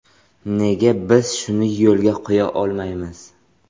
Nega biz shuni yo‘lga qo‘ya olmaymiz?